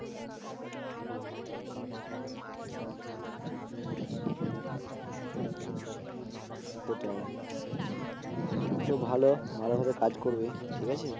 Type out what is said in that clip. সেটাই তো ভালো ভালো ভাবে কাজ করবি ঠিক আছে